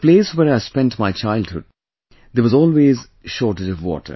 The place where I spent my childhood, there was always shortage of water